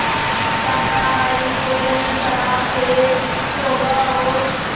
शाकाहारी भोजन शराब से तौबा और